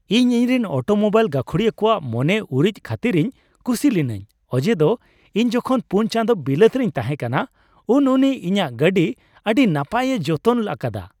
ᱤᱧ ᱤᱧᱨᱮᱱ ᱚᱴᱳᱢᱳᱵᱟᱭᱤᱞ ᱜᱟᱹᱠᱷᱩᱲᱤᱭᱟᱹ ᱠᱚᱣᱟᱜ ᱢᱚᱱᱮ ᱩᱨᱤᱡᱽ ᱠᱷᱟᱹᱛᱤᱨᱤᱧ ᱠᱩᱥᱤ ᱞᱤᱱᱟᱹᱧ ᱚᱡᱮᱫᱚ ᱤᱧ ᱡᱚᱠᱷᱚᱱ ᱔ ᱪᱟᱸᱫᱚ ᱵᱤᱞᱟᱹᱛ ᱨᱤᱧ ᱛᱟᱦᱮᱸ ᱠᱟᱱᱟ ᱩᱱ ᱩᱱᱤ ᱤᱧᱟᱹᱜ ᱜᱟᱹᱰᱤ ᱟᱹᱱᱤ ᱱᱟᱯᱟᱭᱮ ᱡᱚᱛᱚᱱ ᱟᱠᱟᱫᱟ ᱾